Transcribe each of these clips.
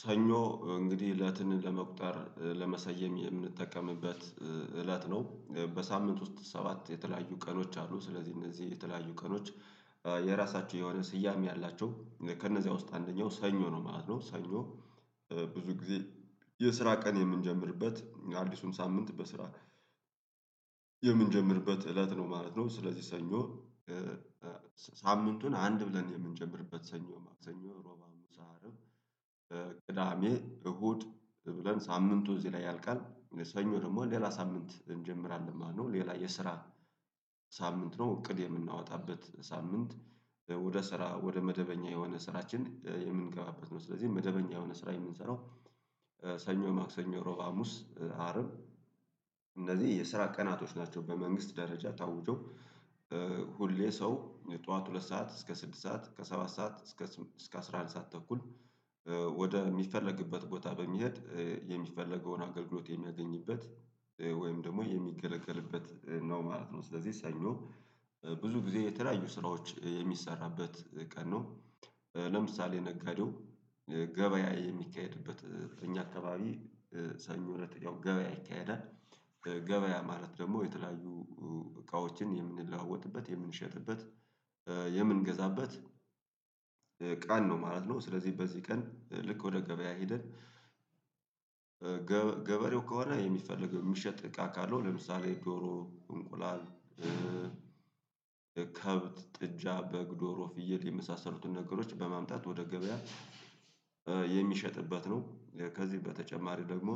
ሰኞ እንግዲህ እለትን ለመቁጠር ለመሰየም የምንጠቀምበት እለት ነው በሳምንት ውስጥ ሰባት የተለያዩ ቀኖች አሉ። ስለዚህ እነዚህ የተለያዩ ቀኖች የራሳቸው የሆነ ስያሜ አላቸው ከእነዚያ ውስጥ አንደኛው ሰኞ ነው ማለት ነው። ሰኞ ብዙ ጊዜ የስራ ቀን የምንጀምርበት አዲሱን ሳምንት በስራ የምንጀምርበት እለት ነው ማለት ነው። ስለዚህ ሰኞ ሳምንቱን አንድ ብለን የምንጀምርበት ሰኞ ሰኞ ሮባ ሃሙሳ አርብ ቅዳሜ እሁድ ብለን ሳምንቱ እዚህ ላይ ያልቃል። ሰኞ ደግሞ ሌላ ሳምንት እንጀምራለን ማለት ነው። ሌላ የስራ ሳምንት ነው እቅድ የምናወጣበት ሳምንት ወደ ስራ ወደ መደበኛ የሆነ ስራችን የምንገባበት ነው። ስለዚህ መደበኛ የሆነ ስራ የምንሰራው ሰኞ ማክሰኞ ሮባ ሀሙስ አርብ እንደዚህ የስራ ቀናቶች ናቸው። በመንግስት ደረጃ ታውጀው ሁሌ ሰው ጠዋት ሁለት ሰዓት እስከ ስድስት ሰዓት ከሰባት ሰዓት እስከ አስራአንድ ሰዓት ተኩል ወደ የሚፈለግበት ቦታ በሚሄድ የሚፈለገውን አገልግሎት የሚያገኝበት ወይም ደግሞ የሚገለገልበት ነው ማለት ነው። ስለዚህ ሰኞ ብዙ ጊዜ የተለያዩ ስራዎች የሚሰራበት ቀን ነው። ለምሳሌ ነጋዴው ገበያ የሚካሄድበት እኛ አካባቢ ሰኞ እለት ገበያ ይካሄዳል። ገበያ ማለት ደሞ የተለያዩ እቃዎችን የምንለዋወጥበት የምንሸጥበት የምንገዛበት ቀን ነው ማለት ነው። ስለዚህ በዚህ ቀን ልክ ወደ ገበያ ሄደን ገበሬው ከሆነ የሚፈልግ የሚሸጥ እቃ ካለው ለምሳሌ ዶሮ እንቁላል ከብት ጥጃ በግ ዶሮ ፍየል የመሳሰሉትን ነገሮች በማምጣት ወደ ገበያ የሚሸጥበት ነው። ከዚህ በተጨማሪ ደግሞ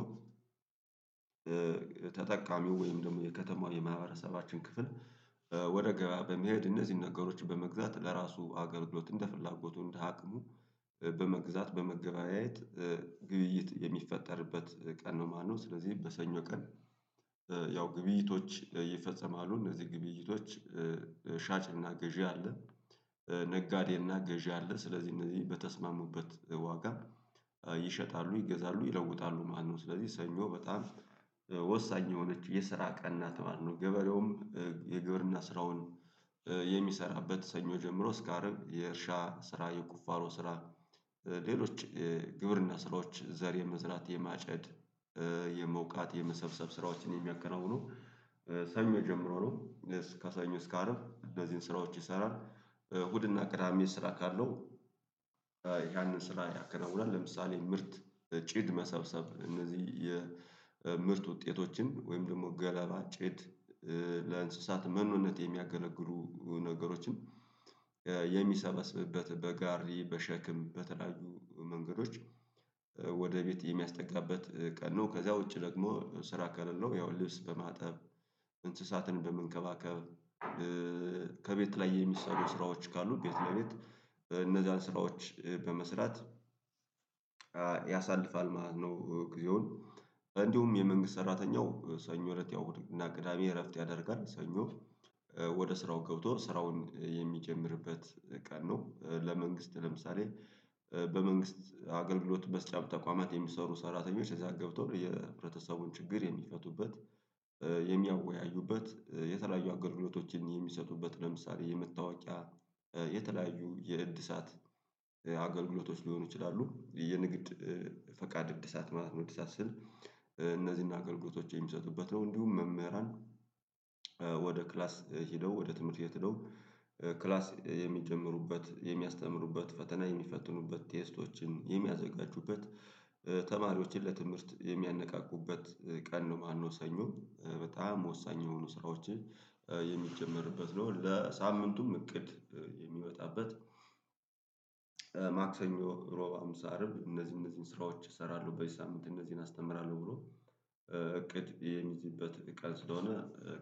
ተጠቃሚው ወይም ደሞ የከተማው የማህበረሰባችን ክፍል ወደ ገበያ በመሄድ እነዚህን ነገሮች በመግዛት ለራሱ አገልግሎት እንደ ፍላጎቱ እንደ አቅሙ በመግዛት በመገበያየት ግብይት የሚፈጠርበት ቀን ነው ማለት ነው። ስለዚህ በሰኞ ቀን ያው ግብይቶች ይፈጸማሉ እነዚህ ግብይቶች ሻጭና ገዢ አለ ነጋዴና ገዢ አለ ስለዚህ እነዚህ በተስማሙበት ዋጋ ይሸጣሉ ይገዛሉ ይለውጣሉ ማለት ነው። ስለዚህ ሰኞ በጣም ወሳኝ የሆነች የስራ ቀና ማለት ነው። ገበሬውም የግብርና ስራውን የሚሰራበት ሰኞ ጀምሮ እስከ አርብ የእርሻ ስራ የቁፋሎ ስራ ሌሎች ግብርና ስራዎች ዘር የመዝራት የማጨድ የመውቃት የመሰብሰብ ስራዎችን የሚያከናውነው ሰኞ ጀምሮ ነው። ከሰኞ እስከ አርብ እነዚህን ስራዎች ይሰራል እሁድና ቅዳሜ ስራ ካለው ያንን ስራ ያከናውናል። ለምሳሌ ምርት ጭድ መሰብሰብ እነዚህ የምርት ውጤቶችን ወይም ደግሞ ገለባ ጭድ ለእንስሳት መኖነት የሚያገለግሉ ነገሮችን የሚሰበስብበት በጋሪ በሸክም በተለያዩ መንገዶች ወደ ቤት የሚያስጠጋበት ቀን ነው። ከዛ ውጪ ደግሞ ስራ ካለለው ያው ልብስ በማጠብ እንስሳትን በመንከባከብ ከቤት ላይ የሚሰሩ ስራዎች ካሉ ቤት ለቤት እነዛን ስራዎች በመስራት ያሳልፋል ማለት ነው። ጊዜውን እንዲሁም የመንግስት ሰራተኛው ሰኞ እለት እሁድና ቅዳሜ እረፍት ያደርጋል ሰኞ ወደ ስራው ገብቶ ስራውን የሚጀምርበት ቀን ነው። ለመንግስት ለምሳሌ በመንግስት አገልግሎት በስጫው ተቋማት የሚሰሩ ሰራተኞች እዛ ገብተው የህብረተሰቡን ችግር የሚፈቱበት የሚያወያዩበት የተለያዩ አገልግሎቶችን የሚሰጡበት ለምሳሌ የመታወቂያ የተለያዩ የእድሳት አገልግሎቶች ሊሆኑ ይችላሉ። የንግድ ፈቃድ እድሳት ማለት ነው እድሳት ስል እነዚህን አገልግሎቶች የሚሰጡበት ነው። እንዲሁም መምህራን ወደ ክላስ ሄደው ወደ ትምህርት ሂደው ክላስ የሚጀምሩበት የሚያስተምሩበት ፈተና የሚፈትኑበት ቴስቶችን የሚያዘጋጁበት ተማሪዎችን ለትምህርት የሚያነቃቁበት ቀን ነው ማለት ነው። ሰኞ በጣም ወሳኝ የሆኑ ስራዎች የሚጀመርበት ነው ለሳምንቱም እቅድ የሚወጣበት። ማክሰኞ ሮብ ሃምሳ አርብ እነዚህ እነዚህን ስራዎች እሰራለሁ በዚህ ሳምንት እነዚህን አስተምራለሁ ብሎ እቅድ የሚይዝበት ቀን ስለሆነ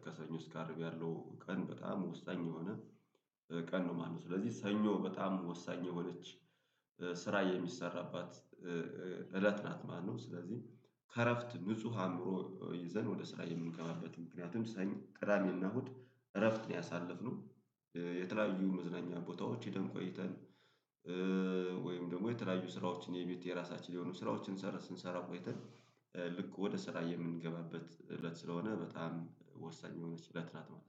ከሰኞ እስከ አርብ ያለው ቀን በጣም ወሳኝ የሆነ ቀን ነው ማለት ነው። ስለዚህ ሰኞ በጣም ወሳኝ የሆነች ስራ የሚሰራባት እለት ናት ማለት ነው። ስለዚህ ከእረፍት ንጹህ አእምሮ ይዘን ወደ ስራ የምንገባበት ምክንያቱም ሰኝ ቅዳሜና እሁድ እረፍት ነው ያሳልፍ ነው። የተለያዩ መዝናኛ ቦታዎች ሂደን ቆይተን ወይም ደግሞ የተለያዩ ስራዎችን የቤት የራሳችን የሆኑ ስራዎችን ስንሰራ ቆይተን ወደ ስራ የምንገባበት እለት ስለሆነ በጣም ወሳኝ የሆነች እለት ናት ማለት ነው